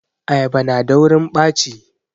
Ayaba na daurin ɓaci